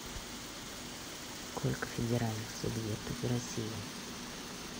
сколько федеральных субъектов в россии